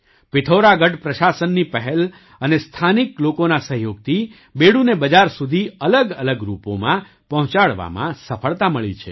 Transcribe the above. પિથૌરાગઢ પ્રશાસનની પહેલ અને સ્થાનિક લોકોના સહયોગથી બેડૂને બજાર સુધી અલગઅલગ રૂપોમાં પહોંચાડવામાં સફળતા મળી છે